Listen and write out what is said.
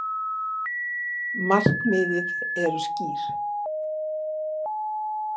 Markmiðið eru skýr